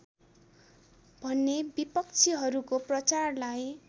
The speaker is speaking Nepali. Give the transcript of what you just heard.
भन्ने विपक्षीहरूको प्रचारलाई